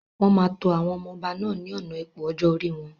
Wọn máa tó àwọn ọmọ ọba náà ni ọ̀nà ipò ọjọ́ orí wọn.